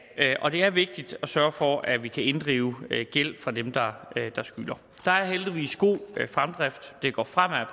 det er vigtigt at sørge for at vi kan inddrive gæld fra dem der skylder der er heldigvis god fremdrift det går fremad